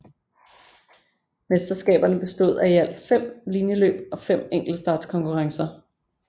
Mesterskaberne bestod af i alt fem linjeløb og fem enktelstartskonurrencer